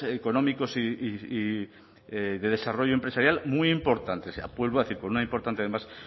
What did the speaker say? económicos y de desarrollo empresarial muy importantes vuelvo a decir con una importante además